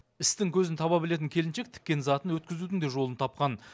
істің көзін таба білетін келіншек тіккен затын өткізудің де жолын тапқан